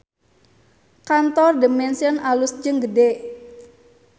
Kantor The Mansion alus jeung gede